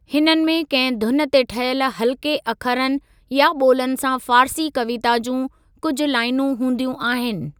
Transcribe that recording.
हिननि में कंहिं धुन ते ठहियल हल्‍के अखरनि या ॿोलनि सां फ़ारसी कविता जूं कुझु लाइनूं हूंदियूं आहिनि।